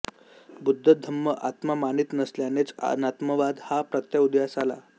बुद्ध धम्म आत्मा मानीत नसल्यानेच अनात्मवाद हा प्रत्यय उदयास आला